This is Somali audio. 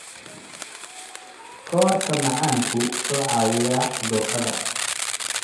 Koodhka macaanku wuxuu caawiyaa cudurrada.